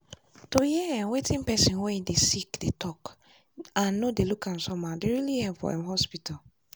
to hear um wetin person wey dey sick dey um talk and no dey look am somehow dey really help for um hospital.